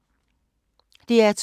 DR2